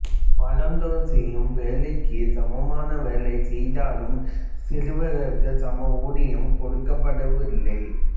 வளர்ந்தோர் செய்யும் வேலைக்குச் சமமான வேலை செய்தாலும் சிறுவர்களுக்குச் சம ஊதியம் கொடுக்கப்படவில்லை